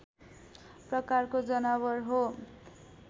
प्रकारको जनावर हो